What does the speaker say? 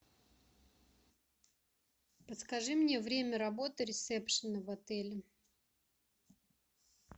подскажи мне время работы ресепшена в отеле